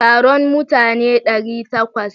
Taron mutane ɗari takwas.